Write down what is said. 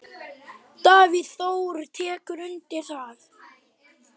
Davíð Þór tekur undir það.